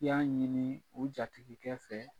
I y'a ɲini u jatigikɛ fɛ.